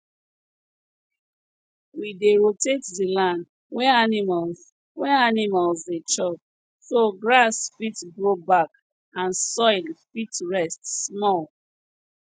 we dey rotate di land wey animals wey animals dey chop so grass fit grow back and soil fit rest small